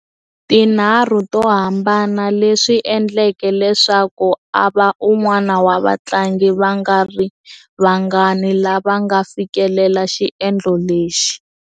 Tinharhu to hambana, leswi endleke leswaku a va un'wana wa vatlangi va nga ri vangani lava nga fikelela xiendlo lexi.